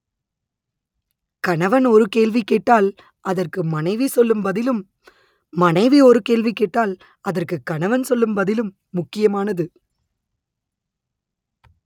கணவன் ஒரு கேள்வி கேட்டால் அதற்கு மனைவி சொல்லும் பதிலும் மனைவி ஒரு கேள்வி கேட்டால் அதற்கு கணவன் சொல்லும் பதிலும் முக்கியமானது